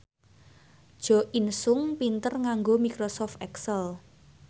Jo In Sung pinter nganggo microsoft excel